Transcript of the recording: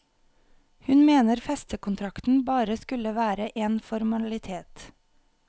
Hun mener festekontrakten bare skulle være en formalitet.